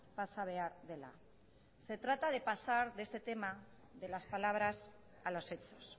pasa behar dela se trata de pasar en este tema de las palabras a los hechos